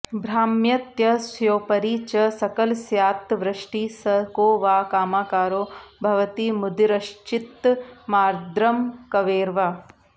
भ्राम्यत्यस्योपरि च सकलस्यात्तवृष्टिः स को वा कामाकारो भवति मुदिरश्चित्तमार्द्रं कवेर्वा